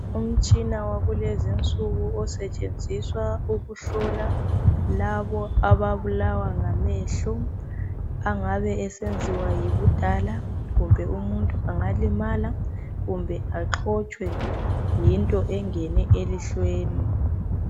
Umtshina wakulezinsuku osebenziswa ukuhlola lapho ababulawa ngamehlo ,engabe esenziwa yibufala kumbe umuntu axotshwe yinto eyabe ingene elihlweni.